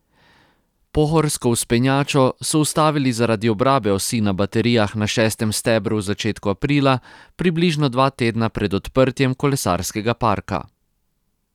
Pohorsko vzpenjačo so ustavili zaradi obrabe osi na baterijah na šestem stebru v začetku aprila, približno dva tedna pred odprtjem kolesarskega parka.